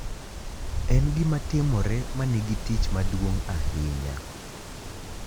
En gima timore ma nigi tich maduong’ ahinya.